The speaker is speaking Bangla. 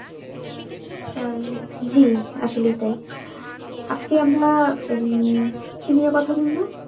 উম জি আসলেই তাই। আজকে আমরা উম কি নিয়ে কথা বলব?